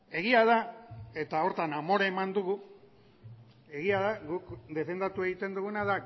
egia da eta horretan amore eman dugu egia da guk defendatu egiten duguna